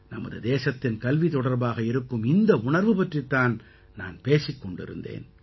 நமது தேசத்தின் கல்வி தொடர்பாக இருக்கும் இந்த உணர்வு பற்றித் தான் நான் பேசிக் கொண்டிருந்தேன்